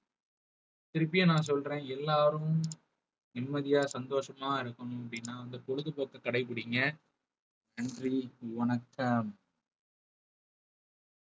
திருப்பியும் நான் சொல்றேன் எல்லாரும் நிம்மதியா சந்தோஷமா இருக்கணும் அப்படின்னா அந்த பொழுதுபோக்க கடைபிடிங்க நன்றி வணக்கம்.